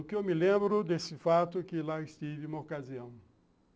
O que eu me lembro desse fato é que lá estive em uma ocasião.